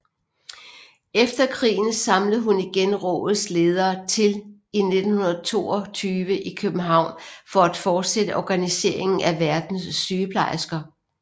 Efter krigen samlede hun igen rådets ledere til i 1922 i København for at fortsætte organiseringen af verdens sygeplejersker